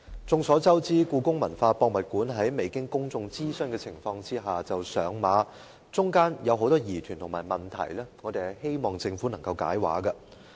眾所周知，香港故宮文化博物館在未經公眾諮詢的情況下上馬，中間有很多疑團和問題，我們希望政府能夠"解畫"。